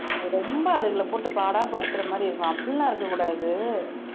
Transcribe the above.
ரொம்ப அதுகளை போட்டு பாடாய் படுத்துற மாதிரி இருக்கும் அப்படிலாம் இருக்கக் கூடாது